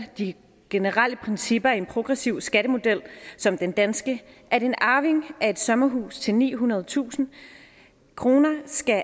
de generelle principper i en progressiv skattemodel som den danske at en arving af et sommerhus til nihundredetusind kroner skal af